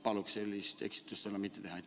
Palun sellist eksimust enam mitte teha.